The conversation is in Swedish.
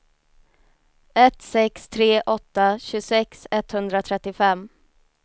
ett sex tre åtta tjugosex etthundratrettiofem